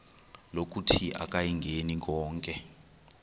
lokuthi akayingeni konke